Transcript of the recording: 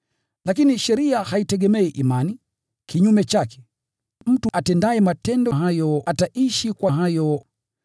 Lakini sheria haitegemei imani. Kinyume chake, “Mtu atendaye matendo hayo ataishi kwa hayo.”